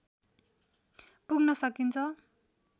पुग्न सकिन्छ।